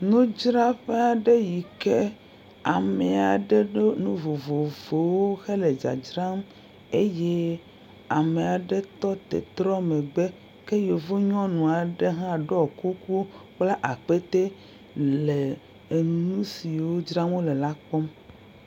Nudzraƒe yi ke ame aɖe ɖo nu vovovovowo hele dzadzram eye ame aɖe tɔ te hetrɔ megbe, ke yevu nyɔnu aɖe ha ɖɔ kuku kpla akpete le nu siwo dzram wole la kpɔm.